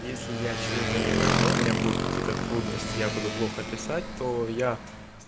если я чего-то не пойму у меня будет какие-то трудности я буду плохо писать то я